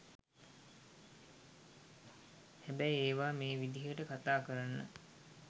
හැබැයි ඒවා මේ විදියට කතා කරන්න